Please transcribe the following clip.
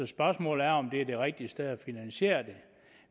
spørgsmålet er om det er det rigtige sted at finansiere det